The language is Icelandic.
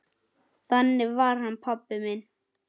Þannig var hann pabbi minn.